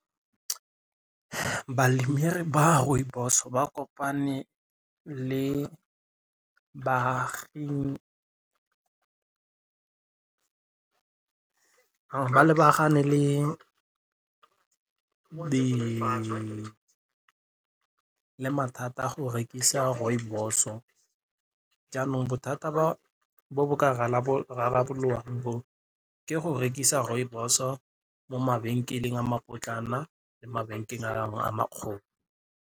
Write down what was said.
Ba rooibos ba kopane le baagi ba lebagane le mathata a go rekisa rooibos-o jaanong bothata bo bo ka rarabololwang bo ke go rekisa rooibos-o mo mabenkeleng a mapotlana le mabenkeng a makgolo.